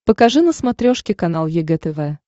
покажи на смотрешке канал егэ тв